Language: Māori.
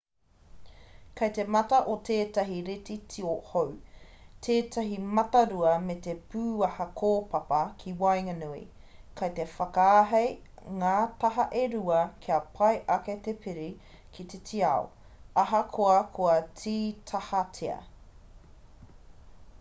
kei te mata o tētahi reti tio hou tētahi matarua me te pūaha kōpapa ki waenganui kei te whakaahei ngā taha e rua kia pai ake te piri ki te tiao ahakoa kua tītahatia